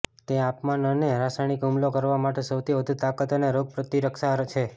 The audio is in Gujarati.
તે તાપમાન અને રાસાયણિક હુમલો કરવા માટે સૌથી વધુ તાકાત અને રોગપ્રતિરક્ષા છે